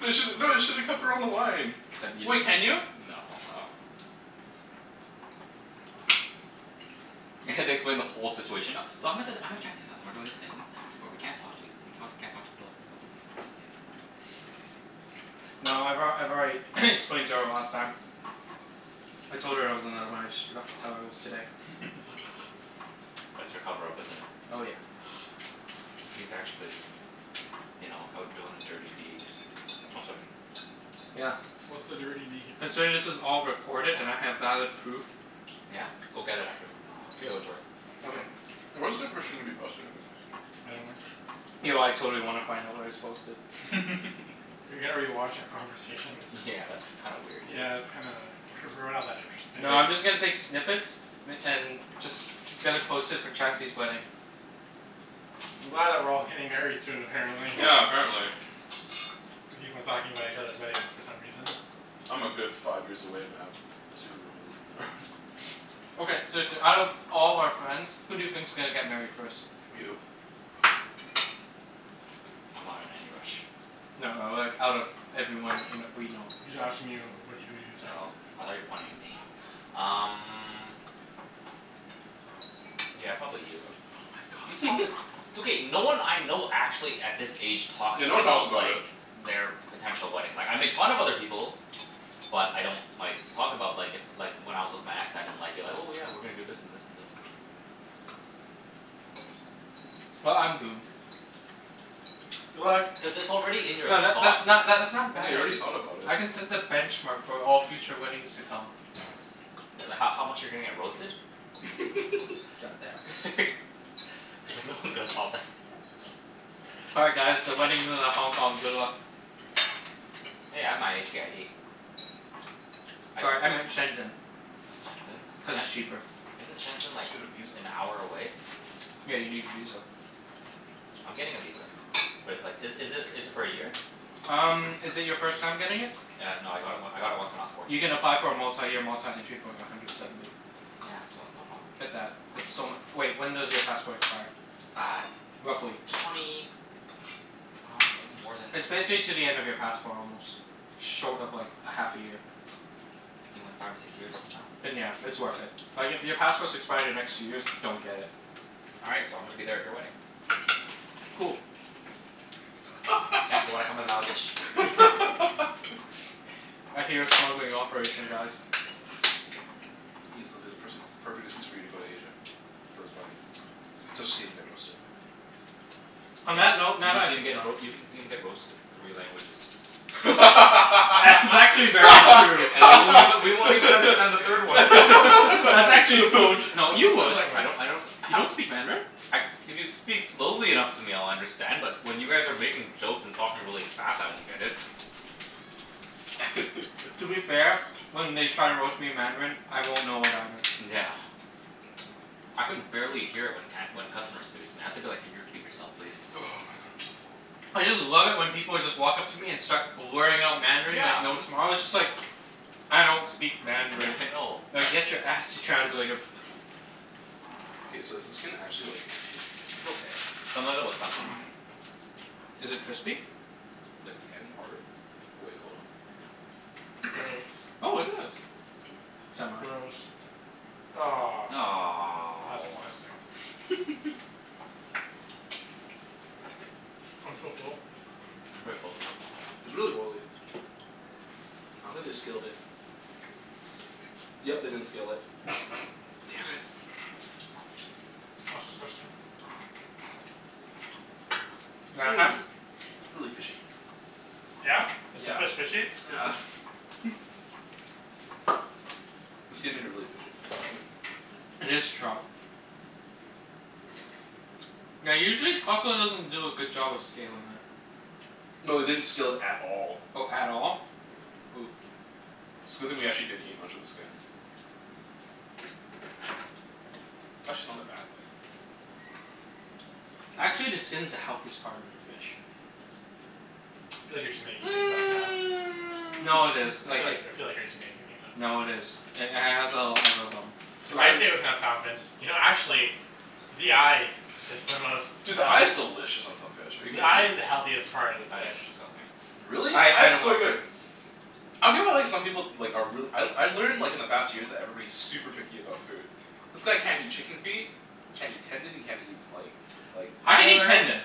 You should, no, you should've kept her on the line. No. Oh. I have to explain the whole situation now. So I'm at this, I'm at Chancey's hou- and we're doing this thing where we can't talk to ea- we talk, we can't talk to people from phones. No, I've al- I've already explained to her last time. I told her there was another one, I just forgot to tell her it was today. That's your cover up, isn't it? Oh yeah. He's actually you know, out doing the dirty deed. Oh, sorry. Yeah. What's the dirty deed? Considering this is all recorded and I have valid proof. Yeah? Go get it after. K. Show it to her. Okay. Where's the information gonna be posted, anyways? I dunno. Yo, I totally wanna find out where it's posted. rewatch our conversation? Yeah, that's kind of weird, dude. Yeah, that's kinda W- we're not that interesting. No, I'm They just gonna take snippets m- and just gonna post it for Chancey's wedding. I'm glad that we're all getting married soon, apparently. Yeah, apparently. We keep on talking about each other's weddings for some reason. I'm a good five years away, Mat. Okay, seriously, out of all our friends, who do you think's gonna get married first? You. I'm not in any rush. No, like, out of everyone in we know. He's asking you who wh- who do you think? Oh, I thought you were pointing at me. Um Yeah, probably you. Oh my god. It's okay. No one I know actually, at this age, talks Yeah, no one talks about about like it. their potential wedding. Like, I make fun of other people. But I don't like, talk about like, if like, when I was with my ex, I didn't like, be like, "Oh yeah, we're gonna do this and this and this." Well, I'm doomed. What? Cuz it's already in your No, tha- thought, that's man. not that's not a Yeah, bad you already idea. thought about it. I can set the benchmark for all future weddings to come. Th- h- how much you're gonna get roasted? God damn. He's like, "No one's gonna top that." All right, guys, the wedding's in a Hong Kong. Good luck. Hey, I have my HK ID. I can Sorry, I go. meant Shenzhen, Shenzhen? cuz Shen- it's cheaper. Isn't Shenzhen Just like, get a visa. an hour away? Yeah, you need a visa. I'm getting a visa. But it's like, is is it is it for a year? Um, is it your first time getting it? Yeah, no, I got it w- I got it once when I was You fourteen. can apply for a multi-year, multi-entry for like, a hundred seventy. Yeah, so no problem. Get that. It's so mu- wait, when does your passport expire? Uh Roughly? twenty, I dunno, more than It's basically to the end of your passport almost. Short of like, a half a year. Maybe like five or six years from now? Then yeah, it's worth it. Like, if your passports expire the next two years, don't get it. All right, so I'm gonna be there at your wedding. Cool. Chancey, wanna come in my luggage? I hear a smuggling operation, guys. Ibs, it'll be the pers- the perfect excuse for you to go to Asia. For his wedding. Just to see him get roasted. On Y- that note you can see him get roa- you can see him get roasted in three languages. That's actually very true. And we won't even, we won't even understand the third one. That's actually so tr- no, you What would. I don't language? I don't s- You don't speak Mandarin? I, if you speak slowly enough to me I'll understand, but when you guys are making jokes and talking really fast, I won't get it. To be fair, when they try to roast me in Mandarin, I won't know it either. Yeah. I can barely hear it when can- when customers speak it. I have to be like, "Can you repeat yourself, please?" Oh my god, I'm so full. I just love it when people just walk up to me and start blurring out Mandarin Yeah, like no m- tomorrow. It's just like I don't speak Yeah, Mandarin. I know. Now get your ass to translator. K, so is the skin actually like nasty? It's okay. Some of it was stuck on mine. Is it crispy? Like the end part. Wait, hold on. Gross. Oh, it is. Semi. Gross. Ah. That's Aw. disgusting. I'm so full. Mm, I'm pretty full too. It's really oily. I don't think they scaled it. Yep, they didn't scale it. Damn it. That's disgusting. Yeah, half Mmm. It's really fishy. Yeah? Is the Yeah. fish fishy? Yeah. The skin made it really fishy. Mm. It is trout. Yeah, usually Costco doesn't do a good job of scaling it. No, they didn't scale it at all. Oh, at all? Ooh. It's a good thing we didn't actually eat much of the skin. Actually not a bad thing. Actually, the skin's the healthiest part of the fish. I feel like you're just making things up now. No, it is. I feel Like it like, I feel like you're just making things up now. No, it is. It h- has a a lot of um So If I then say it with enough confidence. You know actually the eye is the most Dude, the eye is delicious on some fish. Are you The kidding eye me? is the healthiest part of the I think fish. it's disgusting. Really? I Eye I is don't so like Mm. it. good. I feel well like some people like are reall- I I learned like in the past years that everybody's super picky about food. This guy can't eat chicken feet can't eat tendon, he can't eat like like I I can eat learned tendon.